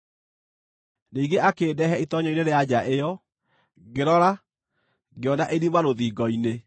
Ningĩ akĩndehe itoonyero-inĩ rĩa nja ĩyo. Ngĩrora ngĩona irima rũthingo-inĩ.